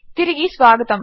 తిరిగి స్వాగతము